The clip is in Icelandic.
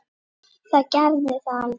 Það gerði það aldrei.